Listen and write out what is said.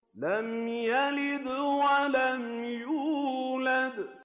لَمْ يَلِدْ وَلَمْ يُولَدْ